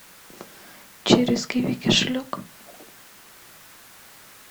через киви кошелек